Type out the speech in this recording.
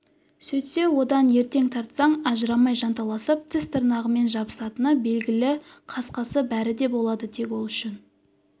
сөйтсе одан ертең тартсаң ажырамай жанталасып тіс-тырнағымен жабысатыны белгілі қысқасы бәрі де болады тек ол үшін